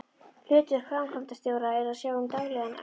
Hlutverk framkvæmdastjóra er að sjá um daglegan rekstur.